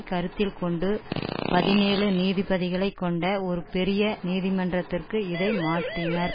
கருத்தில் கொண்டு பதினேழு நீதிபதிகளை கொண்ட ஒரு பெரிய நீதிமன்றத்திற்கு இதை மாற்றினர்